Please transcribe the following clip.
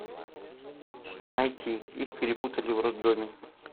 найти их перепутали в роддоме